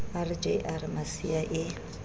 r j r masiea e